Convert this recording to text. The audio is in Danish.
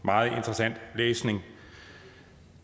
meget interessant læsning